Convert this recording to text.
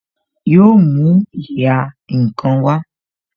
Yo mú ìhà ǹkan wá